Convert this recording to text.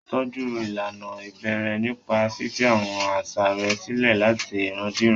Tọ́jú ìlànà ìbẹ̀rẹ̀ nípa fífi àwọn àṣà rẹ̀ sílẹ̀ láti ìran dé ìran.